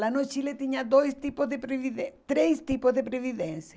Lá no Chile tinha dois tipos de previdên, três tipos de previdência.